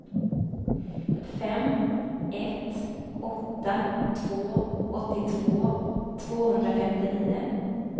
fem ett åtta två åttiotvå tvåhundrafemtionio